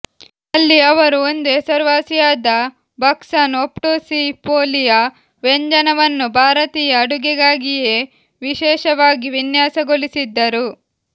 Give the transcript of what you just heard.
ಅಲ್ಲಿ ಅವರು ಒಂದು ಹೆಸರುವಾಸಿಯಾದ ಬಕ್ಸಸ್ ಒಬ್ಟುಸಿಫೋಲಿಯಾ ವ್ಯಂಜನವನ್ನು ಭಾರತೀಯ ಅಡುಗೆಗಾಗಿಯೇ ವಿಶೇಷವಾಗಿ ವಿನ್ಯಾಸಗೊಳಿಸಿದ್ದರು